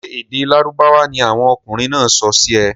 Sé èdè lárúbáwá ni àwon okunrìn náà sọ sì ẹ?